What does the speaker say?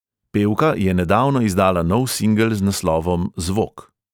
Pevka je nedavno izdala nov singel z naslovom zvok.